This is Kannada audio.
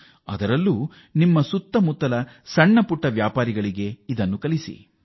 ಅದರಲ್ಲೂ ಇದನ್ನು ನಿಮ್ಮ ನೆರೆಹೊರೆಯ ಸಣ್ಣ ವ್ಯಾಪಾರಿಗಳಿಗೆ ಕಲಿಸಿಕೊಡಿ